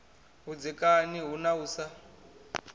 vhudzekani hu na u sa